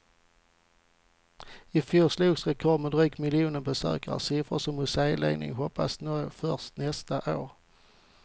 Ifjol slogs rekord med drygt miljonen besökare, siffror som museiledningarna hoppats nå först nästa år.